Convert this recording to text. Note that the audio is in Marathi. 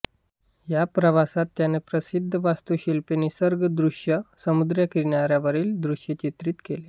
या प्रवासात त्याने प्रसिद्ध वास्तुशिल्पे निसर्गदृश्ये समुद्रकिनाऱ्यावरील दृश्ये चित्रित केली